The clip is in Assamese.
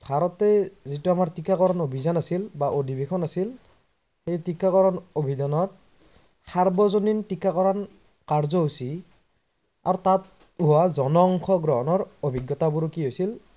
ভাৰতত যিটো আমাৰ টিকাকৰণ অভিজান আছিল বা অধিবেশন আছিল সেই টিকাকৰণ অভিজানত সাৰ্বজনীন টিকাকৰ্ণ কাৰ্যসুচী আৰু তাত হোৱা জনসংখ্যা গ্ৰহনৰ